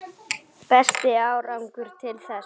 Besti árangur til þessa?